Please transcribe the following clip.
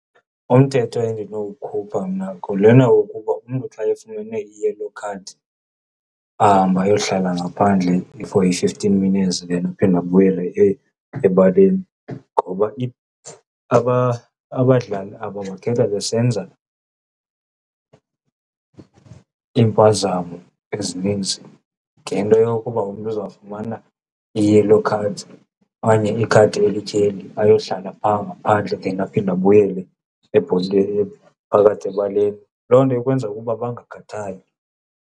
Umthetho endinowukhupha mna ngulena wokuba umntu xa efumene i-yellow card ahambe ayohlala ngaphandle for i-fifteen minutes then aphinde abuyele ebaleni. Ngoba abadlali aba bakhetha besenza iimpazamo ezininzi ngento yokuba umntu uzawufumana i-yellow card okanye ikhadi elityheli ayohlala phaa ngaphandle then aphinde abuyele ngaphakathi ebaleni. Loo nto ikwenza ukuba bangakhathali.